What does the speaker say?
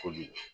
Ko bi